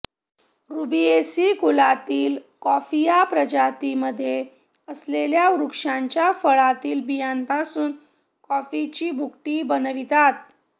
Rubiaceae कुलातील Coffea प्रजातीमध्ये असलेल्या वृक्षांच्या फळांतील बियांपासून कॉफीची भुकटी बनवितात